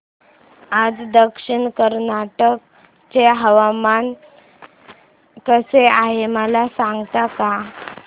आज दक्षिण कन्नड चे हवामान कसे आहे मला सांगता का